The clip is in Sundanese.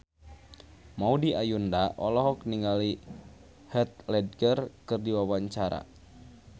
Maudy Ayunda olohok ningali Heath Ledger keur diwawancara